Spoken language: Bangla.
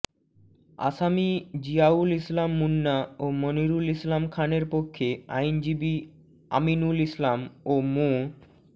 আসামি জিয়াউল ইসলাম মুন্না ও মনিরুল ইসলাম খানের পক্ষে আইনজীবী আমিনুল ইসলাম ও মো